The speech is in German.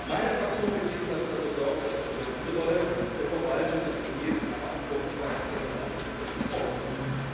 Meine Fraktion wird jedenfalls dafür sorgen, dass auch über diese Rolle der Verwaltung des EP und die Verantwortlichkeit des Generalsekretärs gesprochen wird.